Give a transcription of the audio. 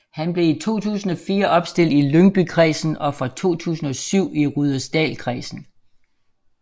Han blev i 2004 opstillet i Lyngbykredsen og fra 2007 i Rudersdalkredsen